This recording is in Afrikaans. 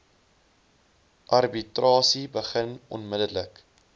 arbitrasie begin onmiddellik